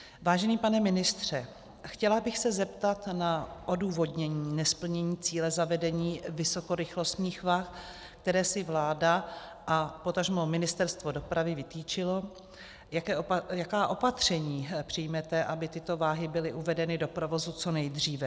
Vážený pane ministře, chtěla bych se zeptat na odůvodnění nesplnění cíle zavedení vysokorychlostních vah, které si vláda a potažmo Ministerstvo dopravy vytyčilo, jaká opatření přijmete, aby tyto váhy byly uvedeny do provozu co nejdříve.